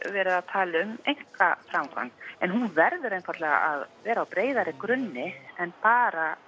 verið að tala um einkaframkvæmd en hún verður einfaldlega að vera á breiðari grunni en bara